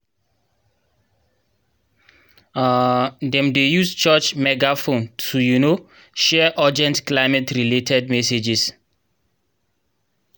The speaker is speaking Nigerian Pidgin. um dem dey use church megaphone to um share urgent climate-related messages